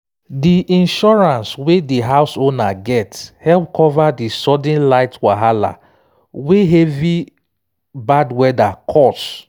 di insurance wey di house owner get help cover di sudden light wahala wey heavy bad weather cause